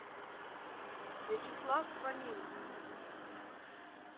вячеслав фомин